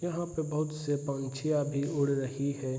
यहाँ पे बहुत से पक्षियाँ भी उड़ रही है।